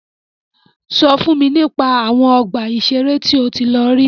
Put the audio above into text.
Sọ fún mi nípa àwọn ọgbà ìṣẹ̀rẹ́ tí o tí lọ rí.